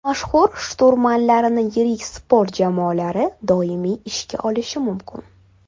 Mashhur shturmanlarni yirik sport jamoalari doimiy ishga olishi mumkin.